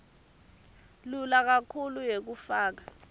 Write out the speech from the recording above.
lelula kakhulu yekufaka